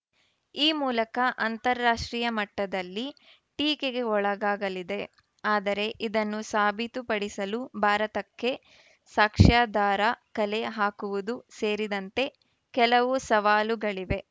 ಈ ಮೂಲಕ ಅಂತರಾಷ್ಟ್ರೀಯ ಮಟ್ಟದಲ್ಲಿ ಟೀಕೆಗೆ ಒಳಗಾಗಲಿದೆ ಆದರೆ ಇದನ್ನು ಸಾಬೀತುಪಡಿಸಲು ಭಾರತಕ್ಕೆ ಸಾಕ್ಷ್ಯಾಧಾರ ಕಲೆ ಹಾಕುವುದು ಸೇರಿದಂತೆ ಕೆಲವು ಸವಾಲುಗಳಿವೆ